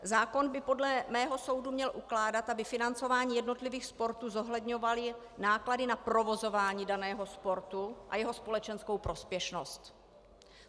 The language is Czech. Zákon by podle mého soudu měl ukládat, aby financování jednotlivých sportů zohledňovalo náklady na provozování daného sportu a jeho společenskou prospěšnost.